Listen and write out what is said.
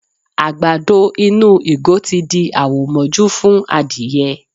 Àgbàdo inú ìgò tí di àwò mọ́jú fún adìyẹ.